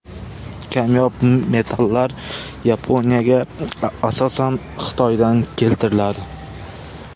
Kamyob metallar Yaponiyaga asosan Xitoydan keltiriladi.